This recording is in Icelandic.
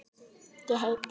Ég heiti